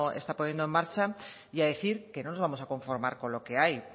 está poniendo en marcha y a decir que no nos vamos a conformar con lo que hay